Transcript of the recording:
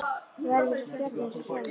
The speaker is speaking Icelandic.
Við verðum eins og stjörnur, eins og sólin